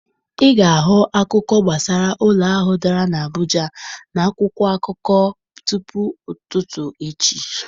Ị ga-ahụ akụkọ gbasara ụlọ ahụ dara n'Abuja n'akwụkwọ akụkọ tupu ụtụtụ echi.